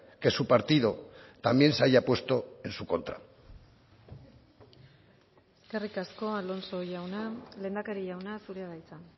que su partido también se haya puesto en su contra eskerrik asko alonso jauna lehendakari jauna zurea da hitza